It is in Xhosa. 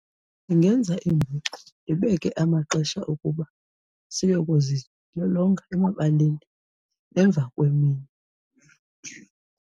Ndingenza iingxoxo, ndibeke amaxesha ukuba siyokuzilolonga emabaleni emva kwemini.